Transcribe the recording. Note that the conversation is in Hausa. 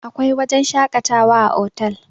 akwai wajen shakatawa a otal